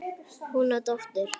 Hún á dóttur.